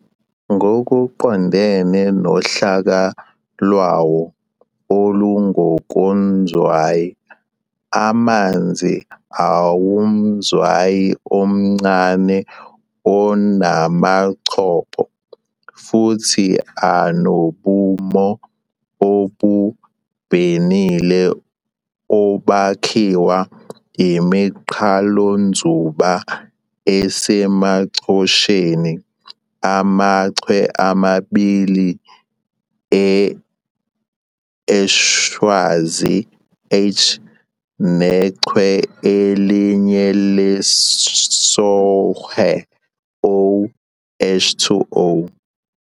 Ngokuqondene nohlaka lwawo olungokonzwayi, amanzi awumzwayi omncane onamachopho, futhi anobumo obubhenile obakhiwa iminqalonzuba esemachosheni, amaChwe amabili eHwanzi, H, nechwe elinye lesOhwe, O, H2O.